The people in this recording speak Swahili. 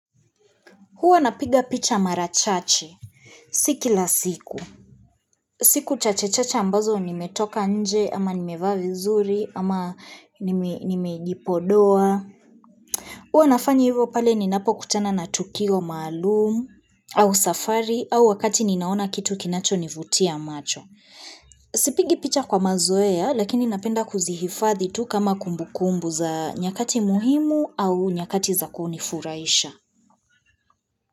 Huwa napiga picha mara chache, si kila siku. Siku chachechache ambazo nimetoka nje, ama nimevaa vizuri, ama nimejipodoa. Huwa nafanya hivo pale ninapokutana na tukio maalumu, au safari, au wakati ninaona kitu kinachonivutia macho. Sipigi picha kwa mazoea, lakini napenda kuzihifadhi tu kama kumbukumbu za nyakati muhimu au nyakati za kunifurahisha.